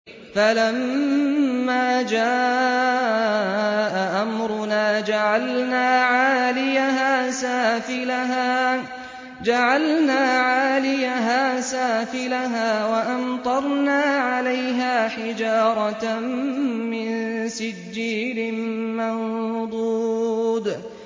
فَلَمَّا جَاءَ أَمْرُنَا جَعَلْنَا عَالِيَهَا سَافِلَهَا وَأَمْطَرْنَا عَلَيْهَا حِجَارَةً مِّن سِجِّيلٍ مَّنضُودٍ